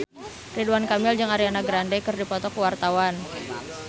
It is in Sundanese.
Ridwan Kamil jeung Ariana Grande keur dipoto ku wartawan